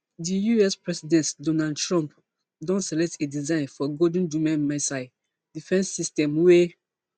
di us president donald trump don select a design for golden dome missile defence system wey